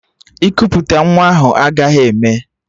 Ikuputa nwa ahụ agaghị eme!